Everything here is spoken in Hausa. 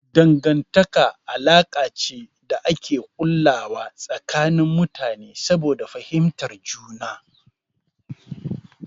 Dangantaka alaka ce da ake ƙullawa tsakanin mutane saboda fahimtar juna.